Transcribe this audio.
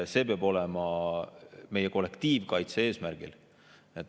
See peab olema meie kollektiivkaitse eesmärgil.